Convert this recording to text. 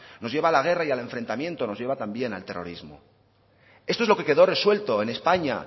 nos lleva a la guerra y al enfrentamiento nos lleva también al terrorismo eso es lo que quedó resuelto en españa